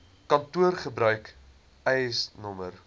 kantoor gebruik eisnr